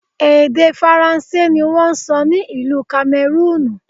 Èdè Faransé ni wón ń sọ ní ìlú Kamẹrúùnù.